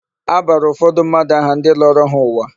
A bara ụfọdụ mmadụ aha ndị lọrọ ha ụwa.